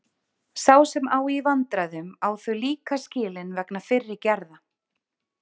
Sá sem á í vandræðum á þau líka skilin vegna fyrri gerða.